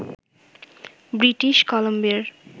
British কলাম্বিয়ার